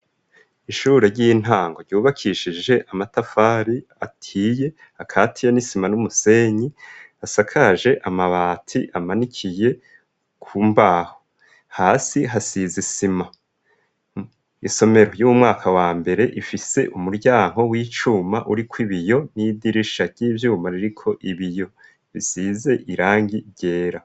Ishure ry'intango ryubakishije amatafari ahiye akatiya n'isima n'umusenyi asakaje amabati amanikiye ku mbaho. Hasi hasize isima. Isomero y'umwaka wa mbere ifise umuryango w'icuma uriko ibiyo n'idirisha ry'ivyuma ririko ibiyo bisize irangi ryera.